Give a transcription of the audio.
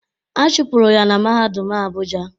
A chụpụrụ ya na mahadum Abuja